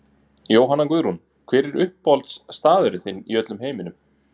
Jóhanna Guðrún Hver er uppáhaldsstaðurinn þinn í öllum heiminum?